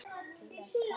til að tala saman